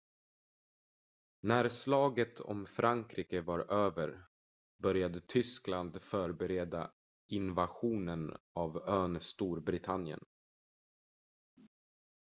när slaget om frankrike var över började tyskland förbereda invasionen av ön storbritannien